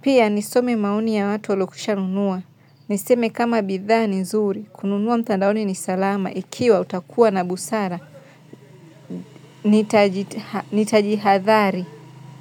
Pia nisome maoni ya watu waliokishanunua. Niseme kama bidhaa ni nzuri. Kununua mtandaoni ni salama ikiwa utakuwa na busara. Nitajihadhari.